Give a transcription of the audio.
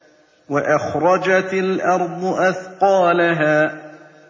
وَأَخْرَجَتِ الْأَرْضُ أَثْقَالَهَا